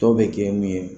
Dɔw bɛ kɛ mun ye